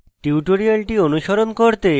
tutorial অনুসরণ করতে